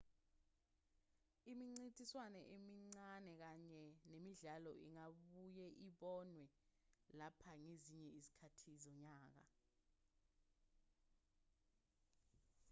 imincintiswano emincane kanye nemidlalo ingabuye ibonwe lapha ngezinye izikhathi zonyaka